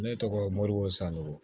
Ne tɔgɔ moribo sanko